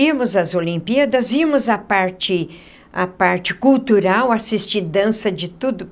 Íamos às Olimpíadas, íamos a parte a parte cultural, assistir dança de tudo.